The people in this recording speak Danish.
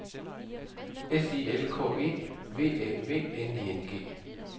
S I L K E V Æ V N I N G